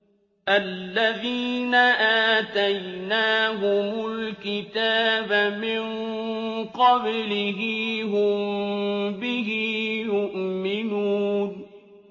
الَّذِينَ آتَيْنَاهُمُ الْكِتَابَ مِن قَبْلِهِ هُم بِهِ يُؤْمِنُونَ